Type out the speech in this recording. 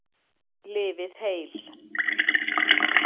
Lifið heil!